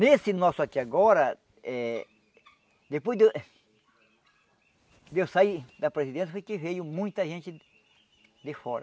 Nesse nosso aqui agora, eh depois de eu de eu sair da presidência, foi que veio muita gente de fora.